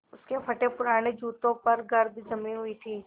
उसके फटेपुराने जूतों पर गर्द जमी हुई थी